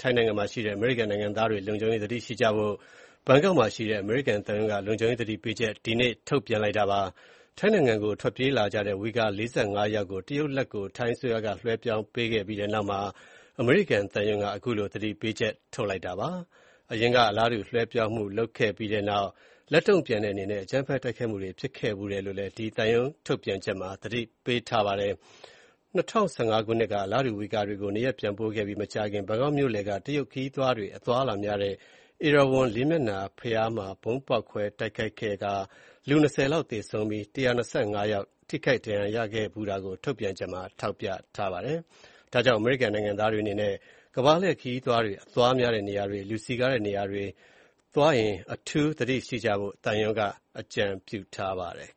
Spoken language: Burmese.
ထိုင်းနိုင်ငံမှာရှိတဲ့ အမေရိကန်နိုင်ငံသားတွေကို လုံခြုံရေးသတိရှိကြဖို့ ဘန်ကောက်မှာရှိတဲ့ အမေရိကန်သံရုံးက လုံခြုံရေးသတိပေးချက် ဒီနေ့ ထုတ်ပြန်လိုက်ပါတယ်။ ထိုင်းနိုင်ငံကို ထွက်ပြေးလာကြတဲ့ ဝိဂါ ၄၅ ယောက်ကို တရုတ်လက်ကို ထိုင်းအစိုးရက လွှဲပြောင်းပေးခဲ့ပြီးနောက်မှာ အမေရိကန်သံရုံးက အခုလို သတိပေးချက် ထုတ်လိုက်တာဖြစ်ပါတယ်။ အရင်က အလားတူ လွှဲပြောင်းမှု လုပ်ခဲ့ပြီးနောက် လက်တုံ့ပြန်တဲ့အနေနဲ့ အကြမ်းဖက် တိုက်ခိုက်မှုတွေ ဖြစ်ခဲ့ဖူးတယ်လို့ သံရုံး ထုတ်ပြန်ချက်မှာ သတိပေးထားပါတယ်။ ၂၀၁၅ ခုနှစ်က အလားတူ ဝီဂါတွေကို နေရပ်ပြန်ပို့ခဲ့ပြီးမကြာခင် ဘန်ကောက်မြို့လယ်က တရုတ်ခရီးသွားတွေ အသွားများတဲ့ ဧရာဝဏ် လေးမျက်နှာ ဘုရားမှာ ဗုံးဖေါက်ခွဲတိုက်ခိုက်မှု ဖြစ်ပွားခဲ့ပြီး လူ ၂၀ လောက်သေဆုံးကာ ၁၂၅ ယောက် ထိခိုက်ဒဏ်ရာရခဲ့ဖူးတာကို ထုတ်ပြန်ချက်မှာ ထောက်ပြထားပါတယ်။ ဒါကြောင့် အမေရိကန်နိုင်ငံသားတွေအနေနဲ့ ကမ္ဘာလှည့်ခရီးသွားတွေ အသွားများတဲ့နေရာတွေ၊ လူစည်ကားတဲ့နေရာတွေသွားရင် အထူးသတိရှိကြဖို့ သံရုံးက အကြံပြုထားပါတယ်